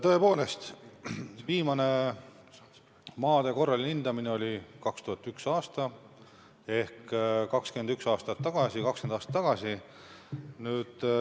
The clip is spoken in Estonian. Tõepoolest, viimane maade korraline hindamine oli 2001. aastal ehk pea 20 aastat tagasi.